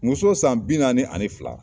Muso san bi naani ani fila.